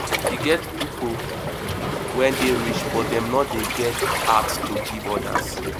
e get pipo wey dey rich but dem no dey get heart give odas